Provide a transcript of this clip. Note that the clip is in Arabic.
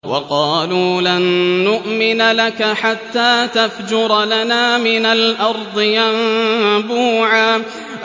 وَقَالُوا لَن نُّؤْمِنَ لَكَ حَتَّىٰ تَفْجُرَ لَنَا مِنَ الْأَرْضِ يَنبُوعًا